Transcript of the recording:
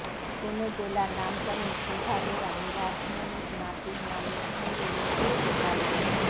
কোন জেলার নামকরণ কীভাবেরানি রাসমনির নাতির নামের সঙ্গে মিলিয়ে গোপালগঞ্জ